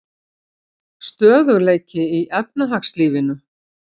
Stöðugleiki í efnahagslífinu